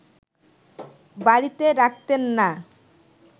বাড়িতে রাখতেন না